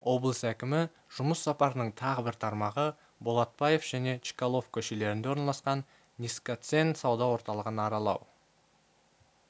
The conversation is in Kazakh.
облыс әкімі жұмыс сапарының тағы бір тармағы болатбаев және чкалов көшелерінде орналасқан низкоцен сауда орталығын аралау